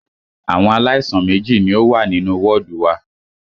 Àwọn aláìsàn méjì ní o wà nínú wọ́ọ̀dù wa.